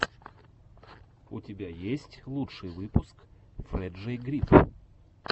у тебя есть лучший выпуск фрэджей гриф